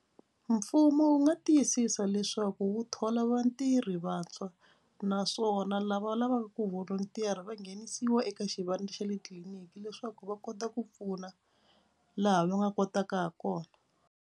Mfumo wu nga tiyisisa leswaku wu thola vatirhi vantshwa naswona lava va lavaka ku volunteer-a va nghenisiwa eka xivandla xa le tliliniki leswaku va kota ku pfuna laha va nga kotaka ha kona.